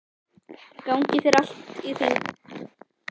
Gangi þér allt í haginn, Margunnur.